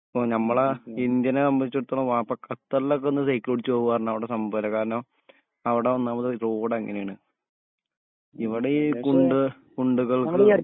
പ്പോ ഞമ്മളെ ഇന്ത്യനെ സംബന്ധിച്ചിടത്തോളം ഖത്തറിലൊക്കൊന്ന് സൈക്കിൾ ഓടിച്ച് പോവാന്ന് പറഞ്ഞ അവിടെ സംഭവല്ലേ കാരണം അവിടെ ഒന്നാമത് റോഡ് അങ്ങനെയാണ് ഇവിടെ ഈ കുണ്ട് കുണ്ടുകൾക്ക്